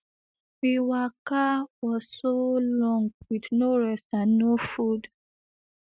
we waka for so long with no rest and no food